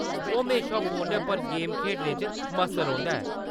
ओह्‌‌ म्हेशा फोनै पर गेम खेढने च मस्त रौंह्‌‌‌दा है।